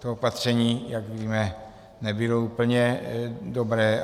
To opatření, jak víme, nebylo úplně dobré.